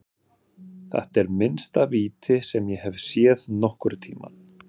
Þetta er minnsta víti sem ég hef séð nokkurntímann.